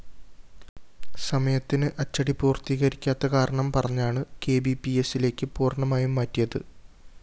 സമയത്തിന് അച്ചടി പൂര്‍ത്തീകരിക്കാത്ത കാരണം പറഞ്ഞാണ് കെബിപിഎസ്സിലേക്ക് പൂര്‍ണമായും മാറ്റിയത്